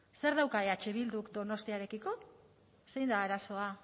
zer dauka eh bilduk donostiarekiko zein da arazoa